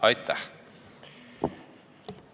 Aitäh!